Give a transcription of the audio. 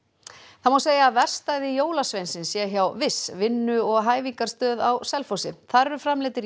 það má segja að verkstæði jólasveinsins sé hjá vinnu og hæfingarstöð á Selfossi þar eru framleiddir